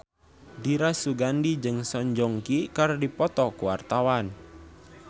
Dira Sugandi jeung Song Joong Ki keur dipoto ku wartawan